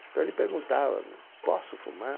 Então ele perguntava, posso fumar?